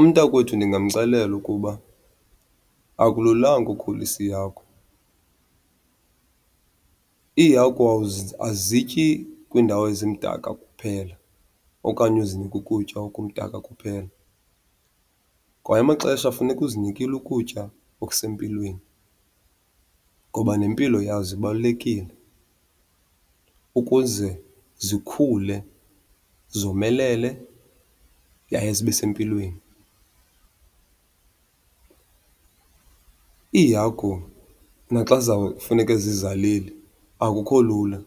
Umntakwethu ndingamxelela ukuba akululanga ukhulisa iihagu. Iihagu azityi kwiindawo ezimdaka kuphela okanye uzinike ukutya okumdaka kuphela, kwaye amaxesha funeka uzinikile ukutya okusempilweni ngoba nempilo yazo ibalulekile ukuze zikhule zomelele yaye zibe sempilweni. Iihagu naxa zizawufuneke zizalile akukho lula